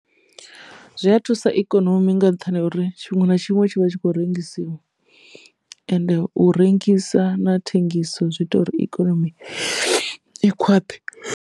Zwi ya thusa ikonomi nga nṱhani ha uri tshiṅwe na tshiṅwe tshi vha tshi kho rengisiwa ende u rengisa na thengiso zwi ita uri ikonomi i khwaṱhe.